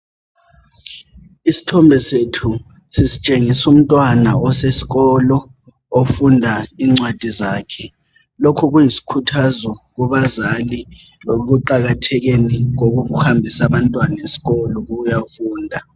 Isithombe sethu sisitshengisa umntwana osesikolo ofunda incwadi zakhe lokhu kuyisikhuthazo kubazali ekuqakathekeni kokuhambisa abantwana esikolo ukuyafunda.